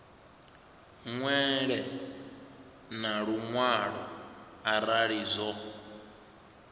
ṅwale na luṅwalo arali zwo